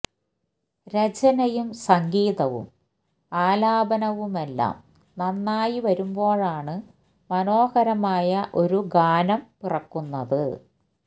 രചനയും സംഗീതവും ആലാപനവുമെല്ലാം നന്നായി വരുമ്പോഴാണ് മനോഹരമായ ഒരു ഗാനം പിറക്കുന്നത്